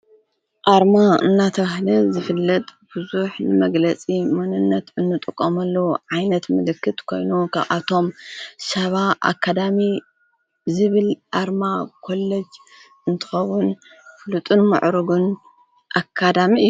ኣርማ እናተብሃለ ዝፍለጥ ብዙሕ መግለጺ ምንነት እንጥቖምለዉ ዓይነት ምልክት ኮይኑ ካብአቶም ሻባ ኣካዳሚ ዝብል ኣርማ ኰለጅ እንትከዉን ፍሉጡን ምዕሩግን ኣካዳሚ እዩ።